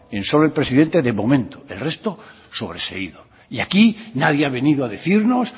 en solo el presidente de momento el resto sobreseído y aquí nadie ha venido a decirnos